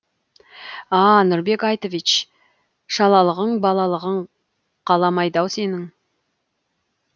а а нұрбек айтович шалалығың балалығың қаламайды ау сенің